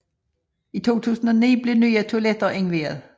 I 2009 blev nye toiletter indviet